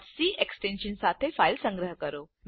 c extension સાથે file સંગ્રહ કરો